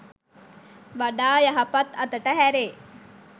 වඩා යහපත් අතට හැරේ.